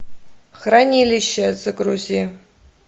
хранилище загрузи